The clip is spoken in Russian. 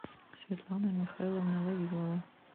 светлана михайловна вавилова